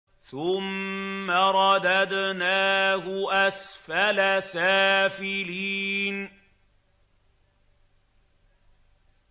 ثُمَّ رَدَدْنَاهُ أَسْفَلَ سَافِلِينَ